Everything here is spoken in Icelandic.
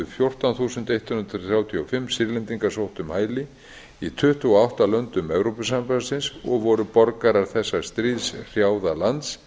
fjórtán þúsund eitt hundrað þrjátíu og fimm sýrlendingar sótt um hæli í tuttugu og átta löndum evrópusambandsins og voru borgarar þessa stríðshrjáða lands